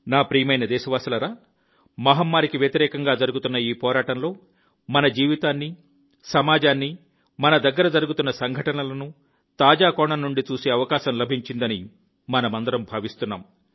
నా ప్రియమైన దేశవాసులారా మహమ్మారికి వ్యతిరేకంగా జరుగుతున్న ఈ పోరాటంలో మన జీవితాన్ని సమాజాన్ని మన దగ్గర జరుగుతున్న సంఘటనలను తాజా కోణం నుండి చూసే అవకాశం లభించిందని మనమందరం భావిస్తున్నాం